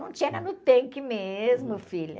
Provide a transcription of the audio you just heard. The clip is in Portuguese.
Não tinha, era no tanque mesmo, filha.